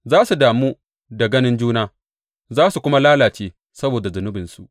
Za su damu da ganin juna za su kuma lalace saboda zunubinsu.